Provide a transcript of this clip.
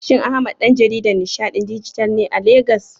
Shin Ahmad ɗan jaridan nishaɗin dijital ne a Legas?